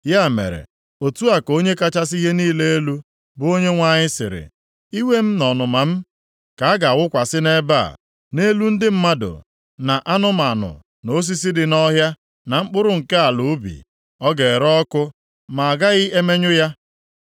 “ ‘Ya mere, otu a ka Onye kachasị ihe niile elu, bụ Onyenwe anyị sịrị: Iwe m na ọnụma m ka a ga-awụkwasị nʼebe a, nʼelu ndị mmadụ, na anụmanụ, na osisi dị nʼọhịa, na mkpụrụ nke ala ubi. Ọ ga-ere ọkụ ma agaghị emenyụ ya.